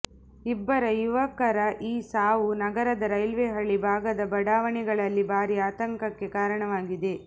ಇಬ್ಬರ ಯುವಕರ ಈ ಸಾವು ನಗರದ ರೈಲ್ವೆ ಹಳಿ ಭಾಗದ ಬಡಾವಣೆಗಳಲ್ಲಿ ಭಾರೀ ಆತಂಕಕ್ಕೆ ಕಾರಣವಾಗಿದೆ